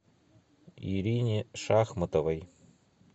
ирине шахматовой